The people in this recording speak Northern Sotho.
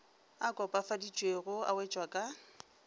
a kopafaditšwego a wetšwa ka